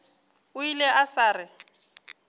o ile a sa re